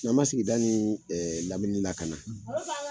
N'an ma sigida ni ɛɛ lamini la ka na